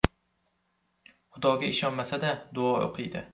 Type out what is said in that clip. Xudoga ishonmasa-da, duo o‘qiydi.